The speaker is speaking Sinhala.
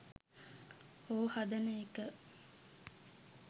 හෝ හදන එක